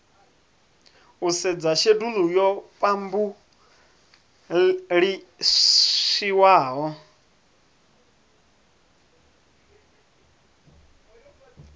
u sedza shedulu yo phabulishiwaho